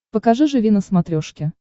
покажи живи на смотрешке